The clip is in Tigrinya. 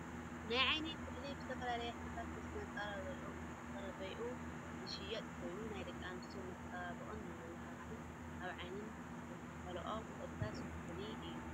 ናይ ዓይኒ ኩሕሊ ብዝተፈላለዩ ሕብርታት ምስ መፅረቢኡ ዝሽየጥ ኮይኑ ፣ ደቂ ኣንስትዮ ንመፀባበቅን መመላክዕን ኣብ ዓይነን ዝኳሓለኦ እርሳስ ኩሕሊ እዩ።